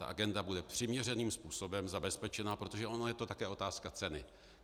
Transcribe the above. Ta agenda bude přiměřeným způsobem zabezpečena, protože ono je to také otázka ceny.